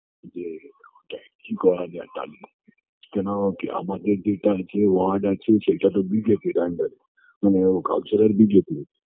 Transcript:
যে তা কী করা যায় তার জন্য কেনকী আমাদের যেটা আছে word আছে সেটাতো বিজেপি-র under -এ মানে ও counselor বিজেপি